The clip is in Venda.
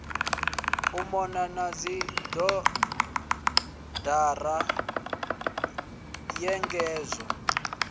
u mona na dzibodara nyengedzo